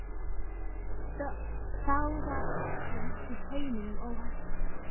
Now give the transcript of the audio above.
Þá var öllum á heimilinu óhætt.